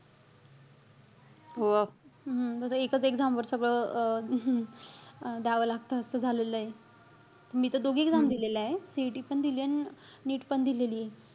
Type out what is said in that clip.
हम्म आता एकच exam वर सगळं अं द्यावं लागत असं झालेलंय. मी त दोघी exam दिलेल्याय. CET पण दिलीय अन NEET पण दिलेलीय.